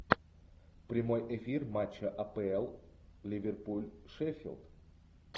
прямой эфир матча апл ливерпуль шеффилд